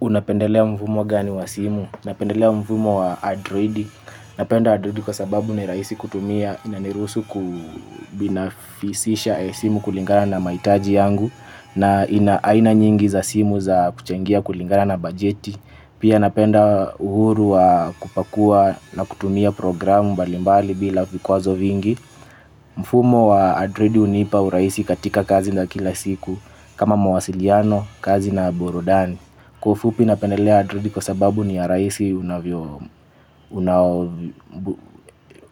Unapendelea mfumo gani wa simu? Napendelea mfumo wa adroidi. Napenda adroidi kwa sababu ni rahisi kutumia. Inaniruhusu kubinafisisha simu kulingana na mahitaji yangu na ina aina nyingi za simu za kuchengia kulingana na bajeti. Pia napenda uhuru wa kupakua na kutumia programu mbalimbali bila vikwazo vingi. Mfumo wa adroidi hunipa urahisi katika kazi na kila siku kama mawasiliano, kazi na burudani. Kwa ufupi napendelea adroidi kwa sababu ni ya rahisi